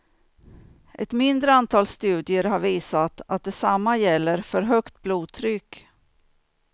Ett mindre antal studier har visat att detsamma gäller för högt blodtryck.